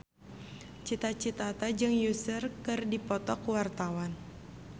Cita Citata jeung Usher keur dipoto ku wartawan